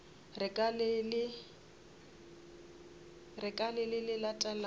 re ka le le latelago